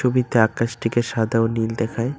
ছবিতে আকাশটিকে সাদা ও নীল দেখায়।